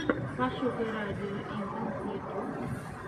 пошукай радио интэнс ютьюб